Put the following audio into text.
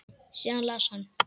Síðan las hann